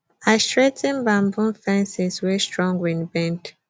i straigh ten bamboo fences wey strong wind bend